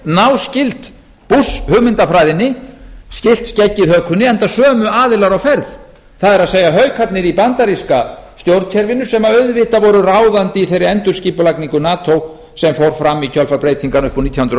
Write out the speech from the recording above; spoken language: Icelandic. náskyld bush hugmyndafræðinni skylt skeggið hökunni enda sömu aðilar á ferð það er haukarnir í bandaríska stjórnkerfinu sem auðvitað voru ráðandi í þeirri endurskipulagningu nato sem fór fram kjölfar breytinganna upp úr nítján hundruð